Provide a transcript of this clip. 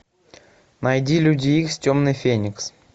найди люди икс темный феникс